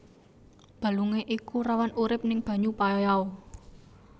Balungé iku rawan urip ning banyu payau